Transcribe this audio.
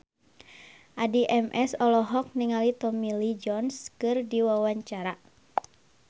Addie MS olohok ningali Tommy Lee Jones keur diwawancara